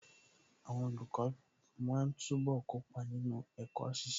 Àwọn olùkọ́ máa túbọ̀ kópa nínú ẹ̀kọ́ ṣiṣẹ́.